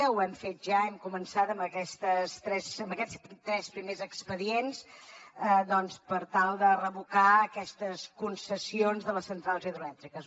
ho hem fet ja hem començat amb aquests tres primers expedients per tal de revocar aquestes concessions de les centrals hidroelèctriques